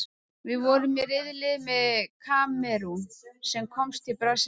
Við vorum í riðli með Kamerún, sem komst til Brasilíu.